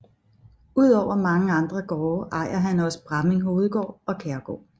Udover mange andre gårde ejer han også Bramming Hovedgård og Kjærgaard